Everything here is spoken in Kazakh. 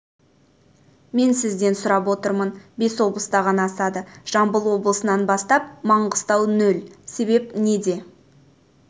мен сізден себебін сұрап отырмын бес облыста ғана асады жамбыл облысынан бастап маңғыстау нөл себеп неде